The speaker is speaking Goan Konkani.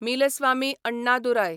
मिलस्वामी अण्णादुराय